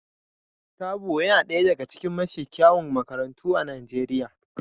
Therbow yana ɗaya daga cikin mafi kyawun makarantu a Najeriya